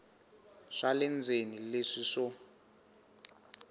swa le ndzeni leswi swo